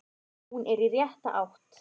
Hún er í rétta átt.